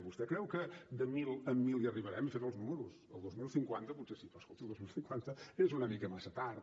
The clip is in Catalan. vostè creu que de mil en mil hi arribarem hi he fet els números el dos mil cinquanta potser sí però escolti el dos mil cinquanta és una mica massa tard